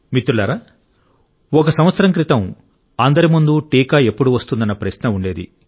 మిత్రులారా ఒక సంవత్సరం క్రితం అందరి ముందు టీకా ఎప్పుడు వస్తుందన్న ప్రశ్న ఉండేది